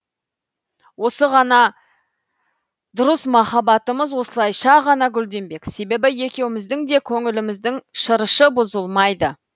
осы ғана дұрыс махаббатымыз осылайша ғана гүлденбек себебі екеуміздің де көңіліміздің шырышы бұзылмайды